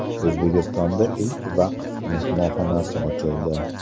O‘zbekistonda ilk vaqf mehmonxonasi ochildi .